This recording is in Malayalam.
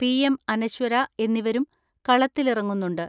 പി.എം. അനശ്വര എന്നിവരും കളത്തിലിറങ്ങുന്നുണ്ട്.